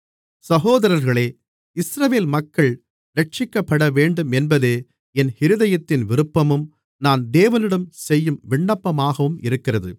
சகோதரர்களே இஸ்ரவேல் மக்கள் இரட்சிக்கப்படவேண்டும் என்பதே என் இருதயத்தின் விருப்பமும் நான் தேவனிடம் செய்யும் விண்ணப்பமாகவும் இருக்கிறது